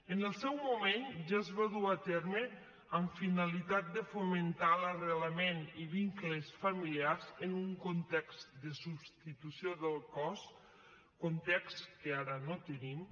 en el seu moment ja es va dur a terme amb finalitat de fomentar l’arrelament i vincles familiars en un context de substitució del cos context que ara no tenim